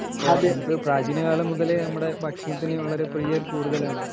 പ്രജീന കാലം മുതലേ നമ്മുടെ ഭക്ഷണത്തിനു പ്രിയം വളരെ കൂടുതൽ ആണ്